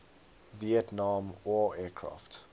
vietnam war aircraft